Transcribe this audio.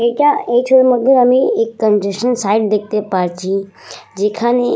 এটা এই ছবির মধ্যে আমি এক কন্ট্রাসান সাইট দেখতে পারছি। যেখানে--